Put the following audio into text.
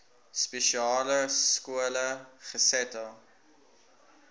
spesiale skole gesetel